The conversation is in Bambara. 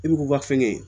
I bi k'u ka fɛnkɛ ye